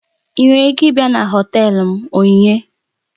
Ị nwere ike ịbịa na họtelu m Onyinye?